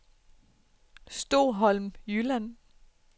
Stoholm Jylland